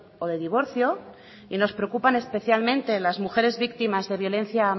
o de divorcio y nos preocupan especialmente las mujeres víctimas de violencia